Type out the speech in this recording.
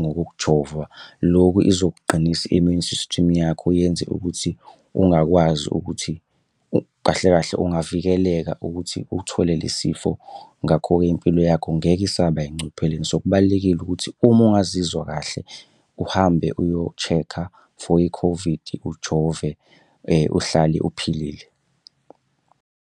ngokujova, lokhu izokuqinisa i-immune system yakho yenze ukuthi ungakwazi ukuthi, kahle kahle ungavikeleka ukuthi uthole lesifo. Ngakho-ke impilo yakho ngeke isaba engcupheleni. So kubalulekile ukuthi uma ungazizwa kahle uhambe uyo-check-a for i-COVID, ujove uhlale uphilile.